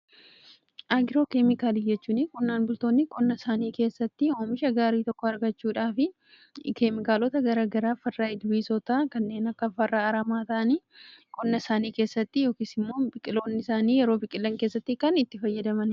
Agiroo keemikaalii jechuun qonnaan bultoonni qonna isaanii keessatti oomisha gaarii tokko argachuudhaaf keemikaalota gara garaa, farra ilbiisootaa kanneen akka farra aramaatiin qonna isaanii keessatti yookiis immoo biqiloonni isaanii yeroo biqilan keessatti kan itti fayyadamanidha.